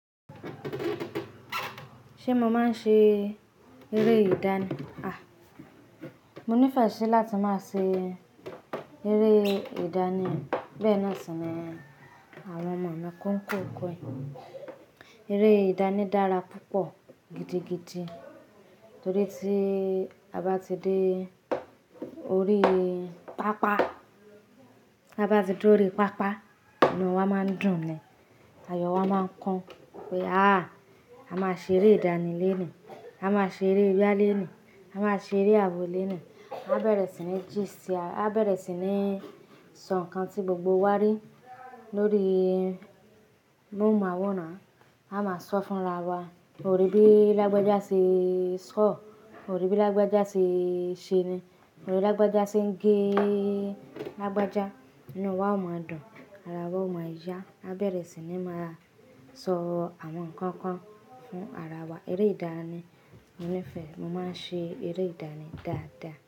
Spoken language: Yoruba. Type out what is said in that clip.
Ṣé mo máa ń ṣe eré ìdánì? A! Mo nífẹ̀ẹ́ sí láti máa ṣe eré ìdánì. Béèni sì ni àwọn màmá kọ́ ń kọ ko. Eré ìdánì dára púpọ̀ gidigidi torí tí a bá ti de orí pápá, a bá ti dúró orí pápá, inú wa máa ń dùn ni, àyò wa máa ń kán pé a! A máa ṣe eré ìdánì lónìí, a máa ṣe eré ìyá lónìí, a máa ṣe eré àwọ̀ lónìí. A bẹ̀rẹ̀ sí ní jí se a, a bẹ̀rẹ̀ sí ní sọ nǹkan tí gbogbo wa rí lórí núù máwòrán, a máa sọ fún ara wa. O rí bí lagbàjá ṣe sọ? O rí bí lágbàjá ṣe ṣe ni? O rí alábàjá ṣe ń gé alábàjá? Inú wa ó máa dùn, ara wa ó máa yá. A bẹ̀rẹ̀ sí ní máa sọ àwọn nǹkan kan fún ara wa. Eré ìdánì mo nífẹ̀ẹ́, mo máa ń ṣe eré ìdánì dáadáa.